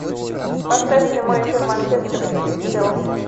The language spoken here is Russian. поставь прямой эфир манчестер сити челси